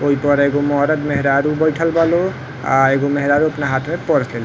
ओई पर एगो मरद-मेहरारू बइठल बा लो। आ एगो मेहरारू अपना हाथ में पर्स ले ले --